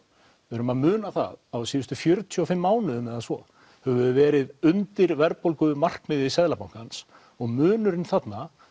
við verðum að muna það að á síðustu fjörutíu og fimm mánuðum eða svo höfum við verið undir verðbólgumarkmiði Seðlabankans og munurinn þarna